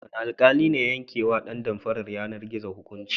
Wane alƙali ne ya yankewa ƴan damfarar yanar-gizo hukunci?